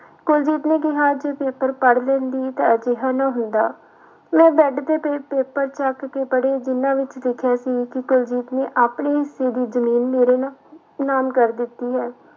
ਕੁਲਜੀਤ ਨੇ ਕਿਹਾ ਜੇ ਪੇਪਰ ਪੜ੍ਹ ਲੈਂਦੀ ਤਾਂ ਅਜਿਹਾ ਨਾ ਹੁੰਦਾ, ਮੈਂ ਬੈਡ ਤੇ ਪਏ ਪੇਪਰ ਚੁੱਕ ਕੇ ਪੜ੍ਹੇ ਜਿਹਨਾਂ ਵਿੱਚ ਲਿਖਿਆ ਸੀ ਕਿ ਕੁਲਜੀਤ ਨੇ ਆਪਣੇ ਹਿੱਸੇ ਦੀ ਜ਼ਮੀਨ ਮੇਰੇ ਨਾਂ ਨਾਮ ਕਰ ਦਿੱਤੀ ਹੈ।